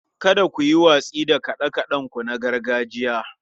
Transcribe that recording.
Kada ku yi watsi da kaɗe-kaɗenku na gargajiya.